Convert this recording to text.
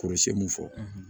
Kɔrɔsiyɛn mun fɔ